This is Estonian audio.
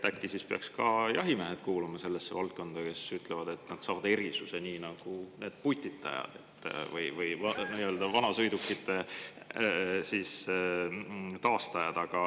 Äkki peaks ka jahimehed kuuluma sellesse valdkonda, kes ütlevad, et nad saavad erisuse, nii nagu need putitajad või vanasõidukite taastajad.